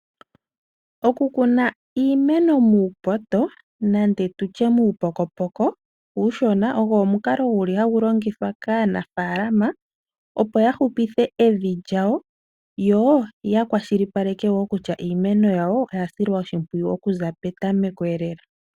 Oku kuna iimeno muupoto nande tutye muupokopoko uushona ogo omukalo guli hagu longithwa kaanafaalama opo ya hupithe evi lyawo yo ya kwashilipaleke wo kutya iimeno yawo oya silwa oshimpwiyu oku za petameko lela.